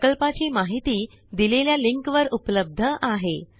प्रकल्पाची माहिती दिलेल्या लिंकवर उपलब्ध आहे